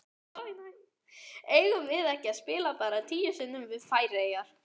Eigum við ekki að spila bara tíu sinnum við Færeyjar?